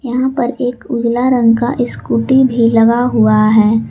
यहां पर एक उजला रंग का स्कूटी भी लगा हुआ है।